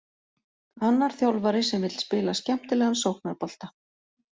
Annar þjálfari sem vill spila skemmtilegan sóknarbolta.